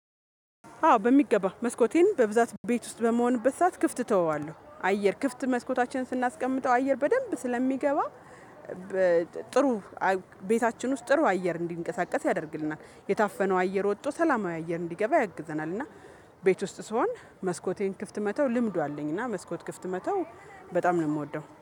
አዎ በሚገባ መስኮቴን በብዛት ቤት ውስጥ በመሆንበት ሰዓት ክፍት እተወዋለሁ አየር ክፍት መስኮታችንን ስናስቀምጠው አየር በደንብ ስለሚገባ። ቤታችን ውስጥ ጥሩ አየር እንዲንቀሳቀስ ያደርግልናል የታፈነው አየር ወጥቶ ሰላማዊ አየር እንዲገባ ያግዘናል እና ቤት ውስጥ ስሆን መስኮቴን ክፍት መተው ልምዱ አለኝ እና መስኮት ክፍት መተው በጣም ነው የምወደው